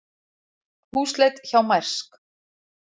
Húsleit hjá Mærsk